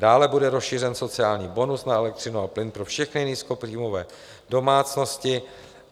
Dále bude rozšířen sociální bonus na elektřinu a plyn pro všechny nízkopříjmové domácnosti.